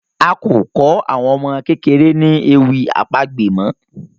A ko kò àwọn ọmọ kékeré ní ewì àpagbè mọ